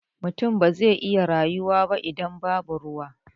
Mutum ba zai iya rayuwa ba idan babu ruwa.